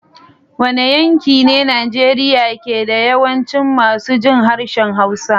Wane yanki ne Najeriya ke da yawancin masu jin harshen Hausa?